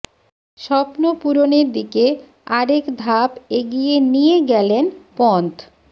স্বপ্ন পূরণের দিকে আরেক ধাপ এগিয়ে নিয়ে গেলেন পন্থ